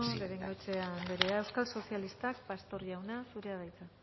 de bengoechea andrea euskal sozialistak pastor jauna zurea da hitza